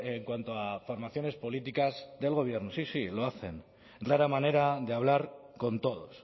en cuanto a formaciones políticas del gobierno sí sí lo hacen rara manera de hablar con todos